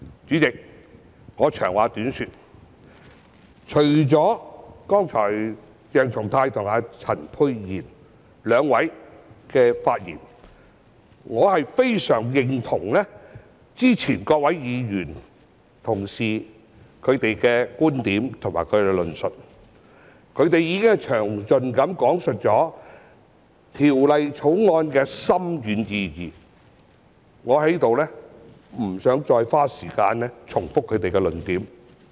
主席，我長話短說，除了剛才鄭松泰議員和陳沛然議員兩位議員的發言外，我非常認同其他議員的觀點和論述，他們已經詳盡講述《條例草案》的深遠意義，我在此不想再花時間重複他們的論點。